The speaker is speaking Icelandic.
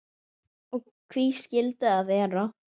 Og hví skildi það vera?